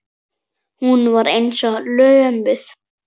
Hún var eins og lömuð.